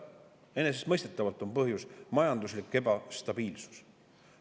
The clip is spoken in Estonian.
Enesestmõistetavalt on põhjus majanduslik ebastabiilsus.